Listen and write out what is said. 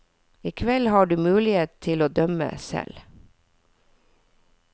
I kveld har du muligheten til å dømme selv.